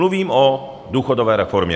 Mluvím o důchodové reformě.